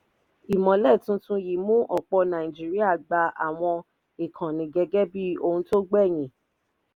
ìmọ́lẹ̀ tuntun yìí mú ọ̀pọ̀ nàìjíríà gba àwọn ìkànnì gẹ́gẹ́ bí ohun tó gbẹ̀yìn.